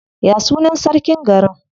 Ya sunan sarkin garin?